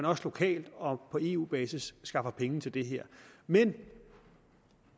også lokalt og på eu basis skaffes penge til det her men